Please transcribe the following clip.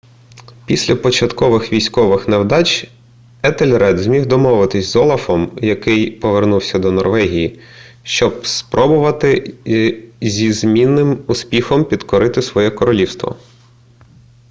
після початкових військових невдач етельред зміг домовитися з олафом який повернувся до норвегії щоб спробувати зі змінним успіхом підкорити своє королівство